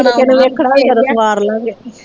ਜਦੋ ਕਿਸੇ ਨੇ ਵੇਖਣਾ ਹੋਇਆ ਓਦੋ ਸਵਾਰ ਲਾ ਗੇ।